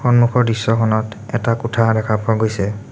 সন্মুখৰ দৃশ্যখনত এটা কোঠা দেখা পোৱা গৈছে।